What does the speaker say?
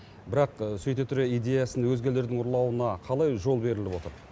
бірақ сөйте тұра идеясын өзгелердің ұрлауына қалай жол беріліп отыр